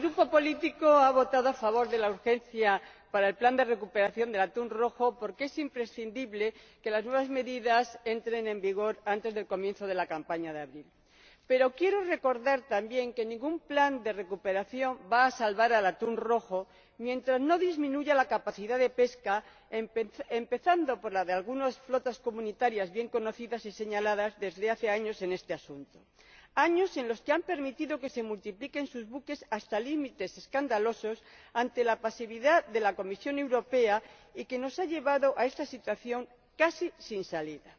Señor Presidente, mi grupo político ha votado a favor de la urgencia para el plan de recuperación del atún rojo porque es imprescindible que las nuevas medidas entren en vigor antes del comienzo de la campaña de abril. Pero quiero recordar también que ningún plan de recuperación va a salvar al atún rojo mientras no disminuya la capacidad de pesca, empezando por la de algunas flotas comunitarias, bien conocidas y señaladas desde hace años en este asunto, años en que los Estados en cuestión han permitido que se multiplicaran sus buques hasta límites escandalosos ante la pasividad de la Comisión Europea, lo que nos ha llevado a esta situación casi sin salida.